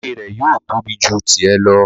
Ìwé rẹ̀ yóò tóbi ju tì ẹ lọ